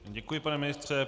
Děkuji, pane ministře.